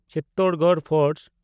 Chittorgarh fort